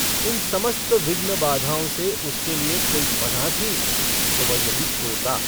इन समस्त विघ्न-बाधाओं से उसके लिए कोई पनाह थी तो वह यही तोता।